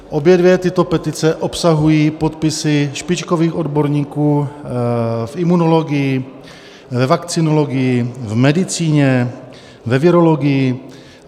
Obě dvě tyto petice obsahují podpisy špičkových odborníků v imunologii, ve vakcinologii, v medicíně, ve virologii.